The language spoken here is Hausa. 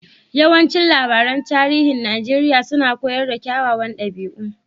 Yawancin labaran tarihin Najeriya suna koyar da kyawawan dabi'u.